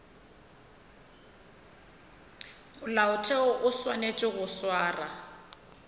molaotheo o swanetše go swara